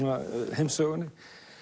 heimssögunni